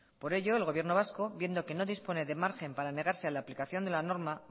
por ello el gobierno vasco viendo que no dispone de margen para negarse a la aplicación de la norma